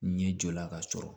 Ɲɛ jɔla ka sɔrɔ